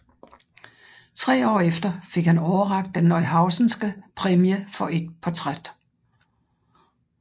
Tre år efter fik han overrakt den Neuhausenske Præmie for et portræt